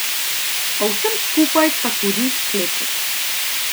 O vsem skupaj pa tudi v sklepu.